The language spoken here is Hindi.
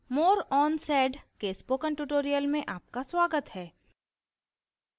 more on sed के spoken tutorial में आपका स्वागत है